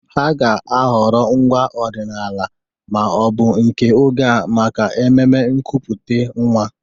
Ha ga-ahọrọ ngwaa ọdịnala ma ọ bụ nke oge a maka ememe nkupute nwa.